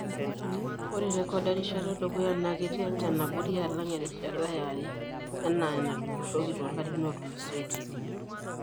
Ore rrekod erishata edukuya naa ketii enchan abori alang erishata yare anaa enatujurroki too larin ootulusoitie.